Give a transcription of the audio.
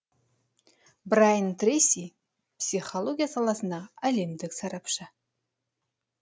брайан трейси психология саласындағы әлемдік сарапшы